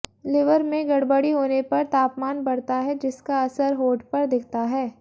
liver में गड़बड़ी होने पर तापमान बढ़ता है जिसका असर होठ पर दिखता है